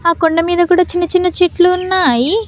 ఆ కొండ మీద కూడా చిన్న చిన్న చెట్లున్నాయి.